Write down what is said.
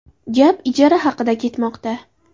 Gap ijara haqida ketmoqda.